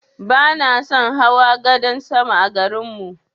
Bana son hawa gadan sama a garin mu.